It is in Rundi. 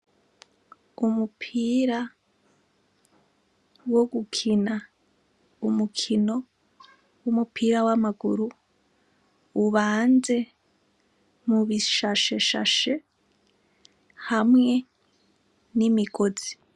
Umupira wo gukina umukino wumupira wamaguru ubanze mubishashashe hamwe n'imigozi.